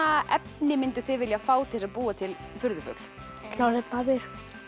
efni mynduð þið vilja fá til að búa til furðufugl klósettpappír